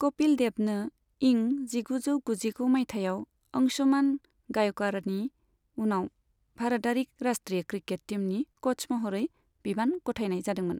कपिल देबनो इं जिगुजौ गुजिगु माइथायाव अंशुमान गायक'वाड़नि उनाव भारतारि राष्ट्रीय क्रिकेट टीमनि क'च महरै बिबान गथायनाय जादोंमोन।